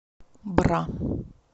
бра